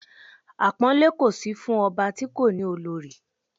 Àpọ́nlé kò sí fún ọba ti kò ni olori